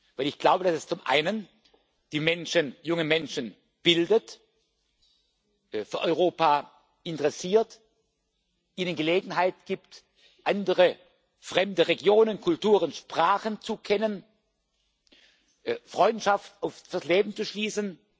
Weil ich glaube, dass es zum einen die Menschen junge Menschen bildet, für Europa interessiert, ihnen Gelegenheit gibt, andere fremde Regionen, Kulturen, Sprachen zu kennen, Freundschaft oft fürs Leben zu schließen.